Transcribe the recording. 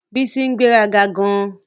Bísọ́lá ń gbéraga gan-an